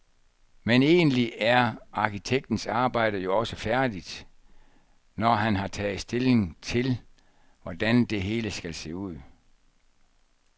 Men egentlig er arkitektens arbejde jo også færdigt, når han har taget stilling til, hvordan det hele skal se ud.